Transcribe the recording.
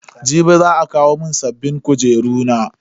Jibi za a kawo mun sabbin kujeru na.